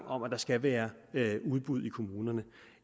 om at der skal være udbud i kommunerne